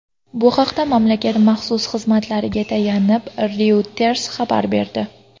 Bu haqda mamlakat maxsus xizmatlariga tayanib, Reuters xabar berdi .